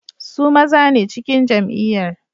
Su maza ne a cikin jam'iyyar.